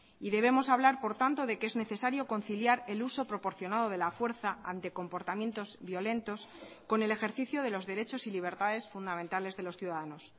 y debemos hablar por tanto de que es necesario conciliar el uso proporcionado de la fuerza ante comportamientos violentos con el ejercicio de los derechos y libertades fundamentales de los ciudadanos